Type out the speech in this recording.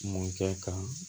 Mɔkɛ kan